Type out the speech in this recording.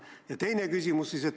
Ja teine küsimus.